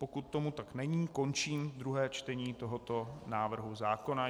Pokud tomu tak není, končím druhé čtení tohoto návrhu zákona.